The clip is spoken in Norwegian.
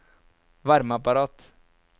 varmeapparat